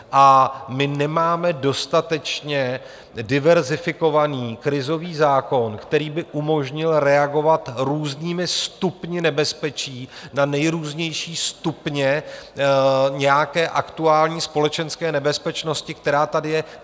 A my nemáme dostatečně diverzifikovaný krizový zákon, který by umožnil reagovat různými stupni nebezpečí na nejrůznější stupně nějaké aktuální společenské nebezpečnosti, která tady je.